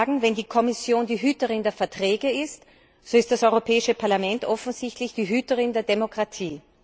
Hier muss ich sagen, wenn die Kommission die Hüterin der Verträge ist, so ist das Europäische Parlament offensichtlich der Hüter der Demokratie.